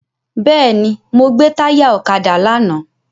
Bẹ́ẹ̀ni, mo gbè táyà ọ̀kadà lánàá.